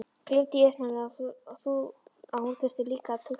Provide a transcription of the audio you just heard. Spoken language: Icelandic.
Gleymdi í uppnáminu að hún þurfti líka að túlka.